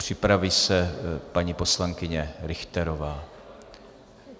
Připraví se paní poslankyně Richterová.